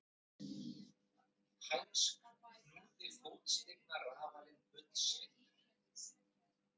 Úr þessu tel ég brýnt að bæta ef markmiðið er trúverðug og vel ígrunduð siðfræði.